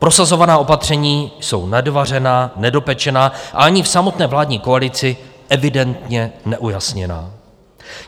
Prosazovaná opatření jsou nedovařená, nedopečená a ani v samotné vládní koalici evidentně neujasněná.